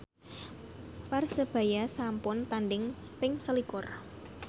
Persebaya sampun tandhing ping selikur